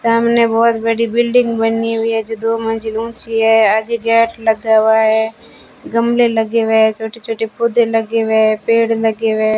सामने बहोत बड़ी बिल्डिंग बनी हुई है जो दो मंजिल ऊंची है आगे गेट लगा हुआ है गमले लगे हुए है छोटे-छोटे पौधे लगे हुए है पेड़ लगे हुए है।